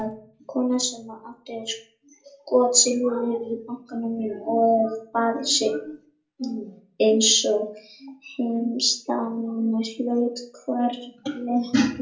Kona sem átti skotsilfur í bankanum og bar sig einsog heimsdama hlaut hvarvetna athygli.